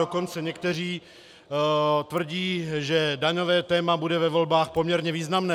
Dokonce někteří tvrdí, že daňové téma bude ve volbách poměrně významné.